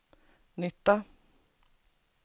nytta